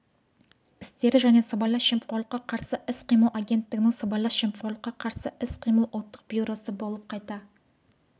істері және сыбайлас жемқорлыққа қарсы іс-қимыл агенттігінің сыбайлас жемқорлыққа қарсы іс-қимыл ұлттық бюросы болып қайта